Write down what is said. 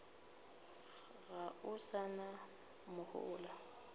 ga o sa na mohola